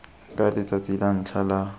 ka letsatsi la ntlha la